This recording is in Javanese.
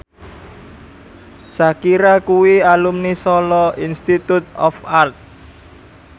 Shakira kuwi alumni Solo Institute of Art